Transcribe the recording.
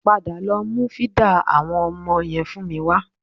Padà lọ mú fídà àwọn ọmọ yẹn fún mi wa